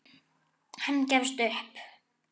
Hann gefst ekki upp.